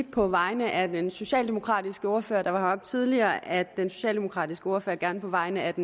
på vegne af den socialdemokratiske ordfører der var heroppe tidligere at sige at den socialdemokratiske ordfører gerne på vegne af